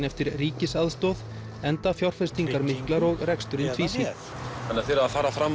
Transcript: eftir ríkisaðstoð enda fjárfestingar miklar og reksturinn tvísýnn þannig að þið eruð að fara fram